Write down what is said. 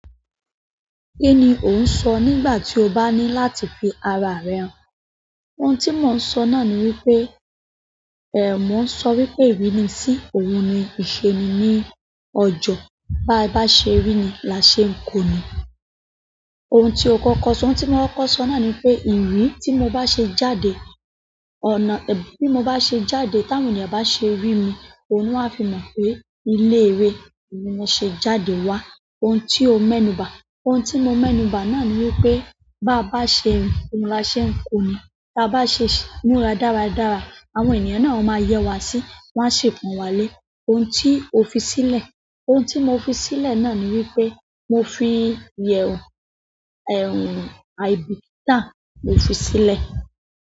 Kí ni ò ń sọ nígbà tí o bá ní láti fi ara rẹ hàn? Ohun tí mò ń sọ náà ni wípé, ée mo ń sọ wípé ìrínisí òun ni ìṣe ni ní ọjo. Bá ba ṣe rí ni lá ṣe ń ko ni. Ohun tí o kọ́kọ́ sọ. Ohun tí mò ń kọ sọ náà ni wípé ìri tí mo bá ṣe jáde, ọ̀nà tí mo bá ṣe jáde táwọn ènìyàn bá ṣe rí mi, òun ni won a fi mọ̀ pé ilé ìré ni mo ṣe jáde wá. Ohun tí o mẹ́nu bà. Ohun tí mo mẹ́nu bà náà ni wípé bá bá ṣe ẹ̀ rin, oun láa ṣe ń ko ni. Bá bá ṣe ń múra dáradára, àwọn ènìyàn náà ó máa yẹ wá sí, wọ́n a ṣe pon wá lé. Ohun tí o fi sílẹ̀. Ohun tí mo fi sílẹ̀ náà ni wípé mo fi ìyẹ̀wù, ẹ̀rù àìbìkítà mo fi sílẹ̀.